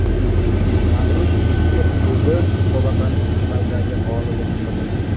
Madrid super klubi musobaqaning amaldagi g‘olibi hisoblanadi.